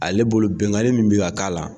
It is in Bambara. Ale bolo bɛnganli mun bɛ ka k'a la.